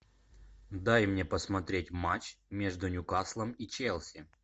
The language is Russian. дай мне посмотреть матч между ньюкаслом и челси